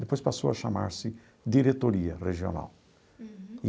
Depois passou a chamar-se Diretoria Regional. Uhum.